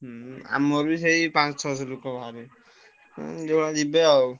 ହୁଁ ଆମର ବି ସେଇ ପାଂଶହ ଛଅସହ ଲୋକ ବାହାରିବେ ହଁ ଯିବେ ଆଉ।